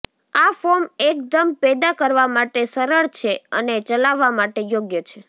આ ફોર્મ એકદમ પેદા કરવા માટે સરળ છે અને ચલાવવા માટે યોગ્ય છે